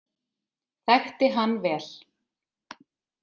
þekkti hann vel.